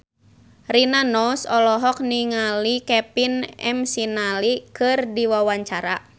Rina Nose olohok ningali Kevin McNally keur diwawancara